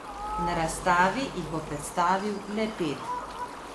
Na razstavi jih bo predstavil le pet.